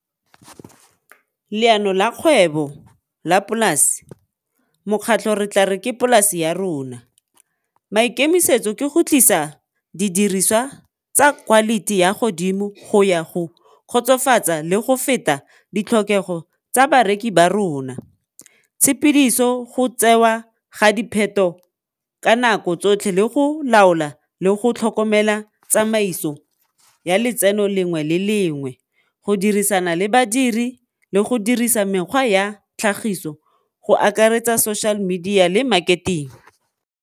Leano la kgwebo la polase, mokgatlho re tla re ke polase ya rona, maikemisetso ke go tlisa didiriswa tsa quality ya godimo go ya go kgotsofatsa le go feta ditlhokego tsa bareki ba rona, tshepidiso go tsewa ga ka nako tsotlhe le go laola le go tlhokomela tsamaiso ya letseno lengwe le lengwe, go dirisana le badiri le go dirisa mekgwa ya tlhagiso go akaretsa social media le marketing.